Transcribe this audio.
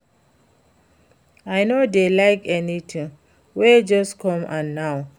I no dey like anything wey just come and now